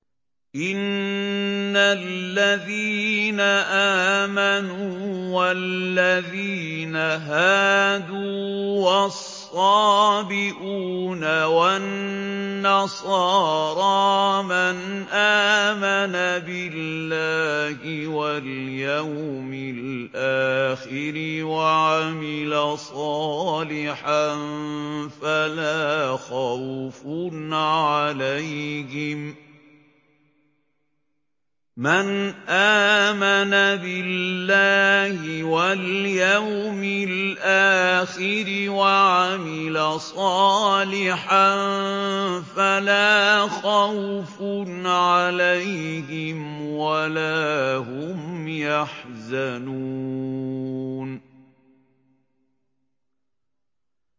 إِنَّ الَّذِينَ آمَنُوا وَالَّذِينَ هَادُوا وَالصَّابِئُونَ وَالنَّصَارَىٰ مَنْ آمَنَ بِاللَّهِ وَالْيَوْمِ الْآخِرِ وَعَمِلَ صَالِحًا فَلَا خَوْفٌ عَلَيْهِمْ وَلَا هُمْ يَحْزَنُونَ